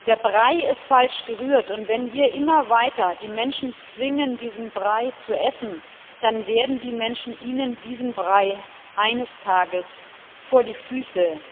Der Brei ist falsch gerührt, und wenn wir die Menschen immer weiter zwingen, diesen Brei zu essen, dann werden die Menschen Ihnen diesen Brei eines Tages vor die Füße